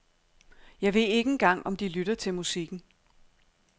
Jeg ved ikke engang om de lytter til musikken.